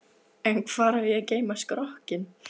En hvar á ég að geyma skrokkinn.